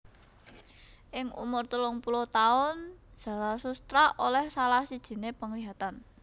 Ing umur telung puluh taun Zarathustra oleh salah sijiné penglihatan